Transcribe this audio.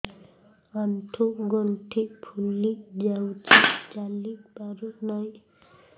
ଆଂଠୁ ଗଂଠି ଫୁଲି ଯାଉଛି ଚାଲି ପାରୁ ନାହିଁ